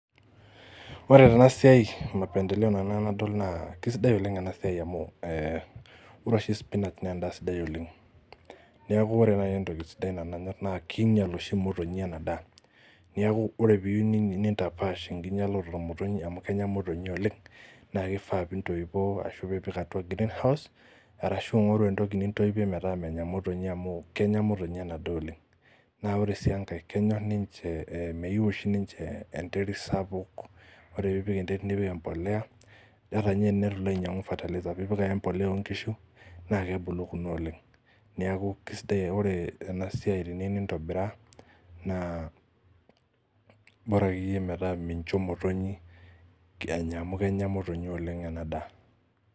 Ore tenasiai mapendeleo nanu enadol naa kisidai oleng ena siai amu eh ore oshi spinach nendaa sidai oleng niaku ore naai entoki nanu sidai nanyorr naa kinyial oshi imotonyi ena daa niaku ore piiyu ni nintapash enkinyialoto omotonyi amu kenya imotonyi oleng naa kifaa pintoipoo ashu piipik atua greenhouse arashu ing'oru entoki nintoipie metaamanya imotonyi amu kenya imotonyi ena daa oleng naa ore sii enkae kenyorr ninche eh meyiu oshi ninche eh enteri sapuk ore piipik enterit nipik empoleya ata inye enetu ilo ainyiang'u fertilizer piipik ake empoleya onkishu naa kebulu kuna oleng niaku kisidai uh ore ena siai teniu nintobiraa naa bora akeyie metaa mincho imotonyi enya amu kenya imotonyi oleng ena daa.